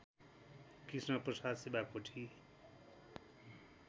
Krishnaprasad Shivakoti